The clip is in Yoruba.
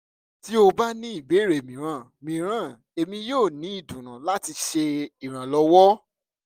ti o ba ni ibeere miiran miiran emi yoo ni idunnu lati ṣe iranlọwọ